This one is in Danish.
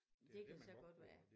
Det kan så godt være